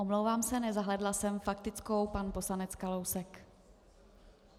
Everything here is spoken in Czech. Omlouvám se, nezahlédla jsem faktickou - pan poslanec Kalousek.